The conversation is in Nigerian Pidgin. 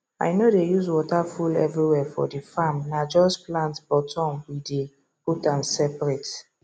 i no dey use water full everywhere for the farmna just plant bottom we dey put am seperate